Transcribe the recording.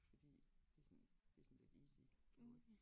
Fordi det sådan det sådan lidt easy going